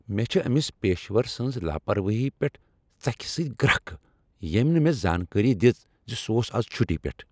مےٚ چھ أمس پیشور سٕنٛز لاپروٲہی پیٹھ ژکھِ سۭتۍ گرٛکھ ییٚمہ نہٕ مےٚ زانکٲری دژ ز سہ اوس از چھٹی پیٹھ۔